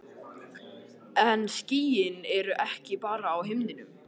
En skýin eru ekki bara á himninum.